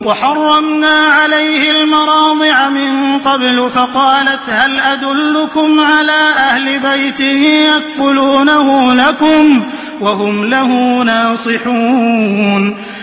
۞ وَحَرَّمْنَا عَلَيْهِ الْمَرَاضِعَ مِن قَبْلُ فَقَالَتْ هَلْ أَدُلُّكُمْ عَلَىٰ أَهْلِ بَيْتٍ يَكْفُلُونَهُ لَكُمْ وَهُمْ لَهُ نَاصِحُونَ